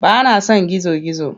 Ba na son gizo-gizo.